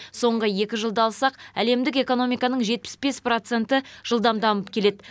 соңғы екі жылды алсақ әлемдік экономиканың жетпіс бес проценті жылдам дамып келеді